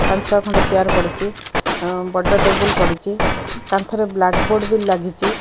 ପାଞ୍ଚ ଖଣ୍ଡ ଚେୟାର୍ ପଡ଼ିଚି ବଡ଼ ଟେବୁଲ୍ ପଡ଼ିଚି କାନ୍ଥ ରେ ବ୍ଲାକ୍ ବୋର୍ଡ ବି ଲାଗିଚି।